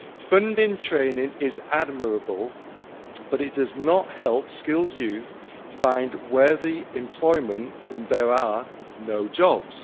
Funding training is admirable, but it does not help skilled youth find worthy employment when there are no jobs.